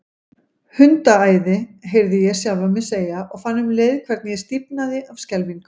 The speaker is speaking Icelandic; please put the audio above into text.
Hundaæði, heyrði ég sjálfan mig segja, og fann um leið hvernig ég stífnaði af skelfingu.